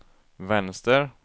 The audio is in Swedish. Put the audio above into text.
vänster